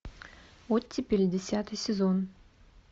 оттепель десятый сезон